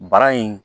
Bara in